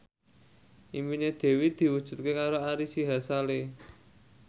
impine Dewi diwujudke karo Ari Sihasale